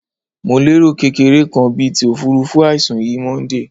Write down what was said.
Mo lero kekere kan bit ofurufu aisun yi Monday